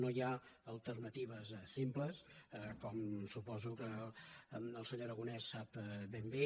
no hi ha alternatives simples com suposo que el senyor aragonès sap ben bé